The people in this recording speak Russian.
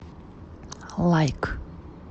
лайк